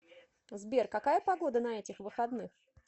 сбер какая погода на этих выходных